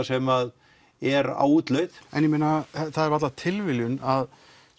sem er á útleið en það er varla tilviljun af